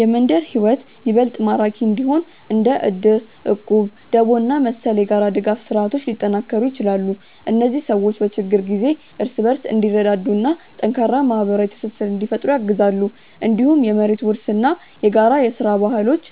የመንደር ሕይወት ይበልጥ ማራኪ እንዲሆን እንደ እድር፣ እቁብ፣ ደቦ እና መሰል የጋራ ድጋፍ ስርዓቶች ሊጠናከሩ ይችላሉ። እነዚህ ሰዎች በችግር ጊዜ እርስ በርስ እንዲረዳዱ እና ጠንካራ ማህበራዊ ትስስር እንዲፈጥሩ ያግዛሉ። እንዲሁም የመሬት ውርስ እና የጋራ ሥራ ባህሎች